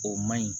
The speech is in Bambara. O man ɲi